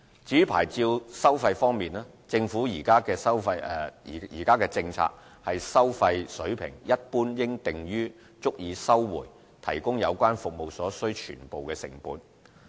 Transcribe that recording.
至於牌照收費方面，政府現時政策是收費水平一般應訂於足以收回提供有關服務所需全部成本。